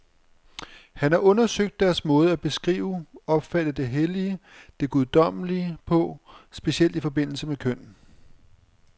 Hun har undersøgt deres måde at beskrive, opfatte det hellige, det guddommelige på, specielt i forbindelse med køn.